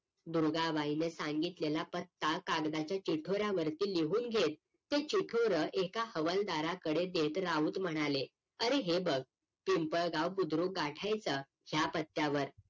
दुर्गा बाईने सांगितलेला पत्ता कागदाच्या चिठोर्यावरती लिहून घेत ते चिठोर एका हवलदारा कडे देत राऊत म्हणाले अरे हे बघ पिंपळगाव बुद्रुक गाठायचं ह्या पत्त्या वर